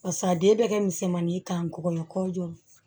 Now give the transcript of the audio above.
Barisa a den bɛ kɛ misɛnmanin ye k'a gosi kɔɲɔjɔ